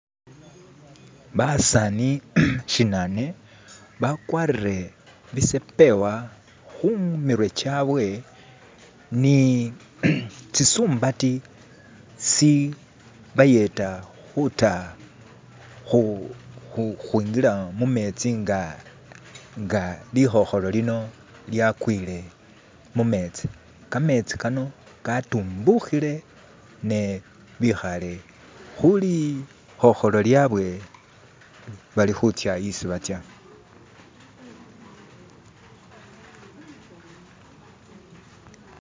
Basaani shinane bagwatire bisepeewa kumitwe gyawe ni zi sumbati ishibayeda kuda kwingira mumenzi nga likhokhoro lino lyagwire mumenzi, kamenzi kano kadumbukhire ne bikhare ku lukhokholo lyawe bali nisi baza